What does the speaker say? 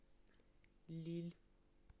лилль